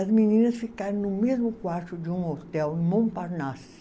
As meninas ficaram no mesmo quarto de um hotel, em Montparnasse.